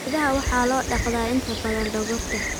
Idaha waxaa loo dhaqdaa inta badan dhogorta.